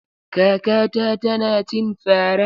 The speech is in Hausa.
Kakata tana cin fara.